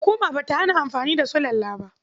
Hukuma ba ta hana amfani da sulalla ba.